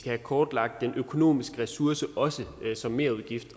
have kortlagt den økonomiske ressource ressource som merudgift